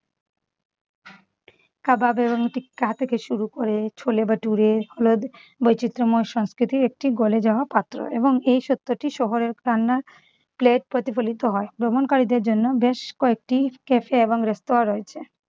চা থেকে শুরু করে ছোলে ভাটুরে হলো বৈচিত্র্যময় সংস্কৃতির একটি গোলে যাওয়া পাত্র এবং এই সত্যটি শহরে রান্নার plate প্রতিফলিত হয় । ভ্রমণকারীদের জন্য বেশ কয়েকটি cafe এবং রেস্তোরা রয়েছে।